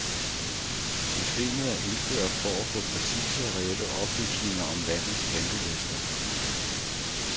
Systemet er indført for at få præcise og reelle oplysninger om landets ventelister.